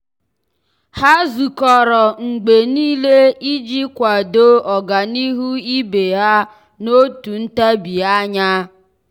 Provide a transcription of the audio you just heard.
há zùkọ́rọ́ mgbe nìile iji kwàdòọ́ ọ́gànihu ibe ha n’òtù ntabi anya.